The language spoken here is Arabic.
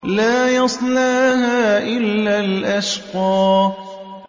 لَا يَصْلَاهَا إِلَّا الْأَشْقَى